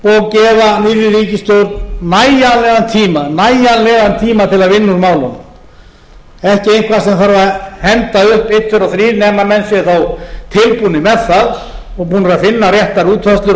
nýrri ríkisstjórn nægjanlegan tíma til að vinna úr málunum ekki eitthvað sem þarf að henda upp einn tveir og þrír nema menn séu þá tilbúnir með það og búnir að einn réttar útfærslur og